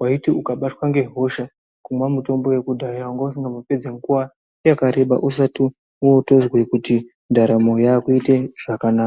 vaiti ukabatwa ngehosha kukamwa mitombo yakudhaya vangausingambo pedzi nguva yakareba usati votozwe kuti ndaramo yakuite zvakanaka.